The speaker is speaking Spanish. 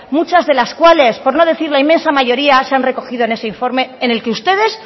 muchas de las cuales por no decir la inmensa mayoría sean recogido en ese informe en el que ustedes